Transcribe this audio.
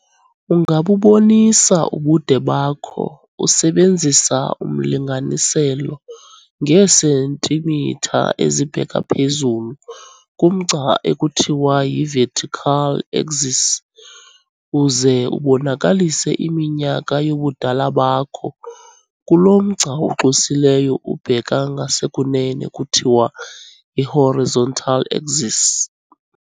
Ungabubonisa ubude bakho usebenzisa umlinganiselo ngeesentimitha ezibheka phezulu kumgca ekuthiwa yi-vertical axis, uze ubonakalise iminyaka yobudala bakho kulo mgca uxwesileyo ubheka ngasekunene kuthiwa yi-horizontal axis.